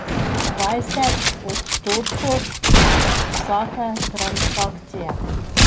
Dvajset odstotkov od vsake transakcije.